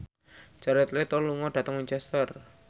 Jared Leto lunga dhateng Winchester